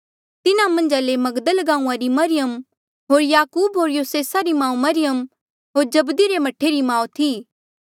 तिन्हा मन्झ मगदल गांऊँआं री मरियम होर याकूब होर योसेसा री माऊ मरियम होर जब्दी रे मह्ठे री माऊ थी